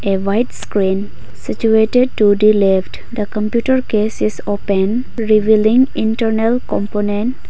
a white screen situated to the left the computer case is open revealing internal component.